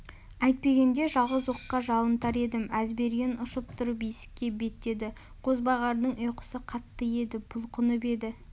әйтпегенде жалғыз оққа жалынтар едім әзберген ұшып тұрып есікке беттеді қозбағардың ұйқысы қатты еді бұлқынып еді